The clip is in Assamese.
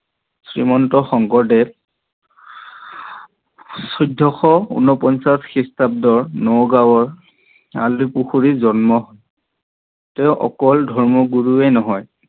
শ্ৰীমন্ত শংকৰদেৱৰ চৈধ্যশ ঊণপঞ্চাছ খ্ৰীষ্টাব্দত নগাৱৰ আলিপুখুৰীত জন্ম হয়। তেও অকল ধৰ্ম গুৰুৱে নহয়